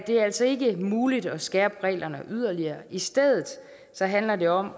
er altså ikke muligt at skærpe reglerne yderligere i stedet handler det om